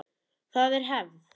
Það er hefð!